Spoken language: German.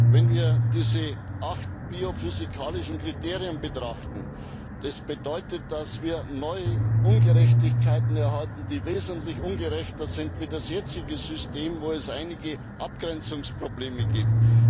Wenn wir diese acht biophysikalischen Kriterien betrachten, sehen wir, dass wir neue Ungerechtigkeiten erhalten, die wesentlich schlimmer sind als das jetzige System, in dem es einige Abgrenzungsprobleme gibt.